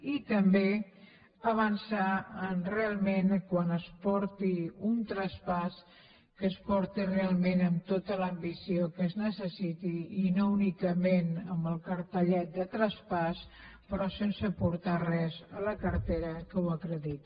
i també avançar realment quan es porti un traspàs que es porti realment amb tota l’ambició que es necessiti i no únicament amb el cartellet de traspàs però sense portar res a la cartera que ho acrediti